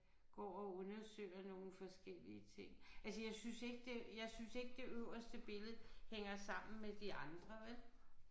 Går og undersøger nogle forskellige ting altså jeg synes ikke det jeg synes ikke det øverste billede hænger sammen med de andre vel